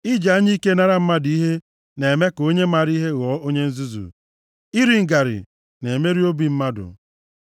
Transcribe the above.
Iji anya ike nara mmadụ ihe na-eme ka onye mara ihe ghọọ onye nzuzu, iri ngarị na-emerụ obi mmadụ.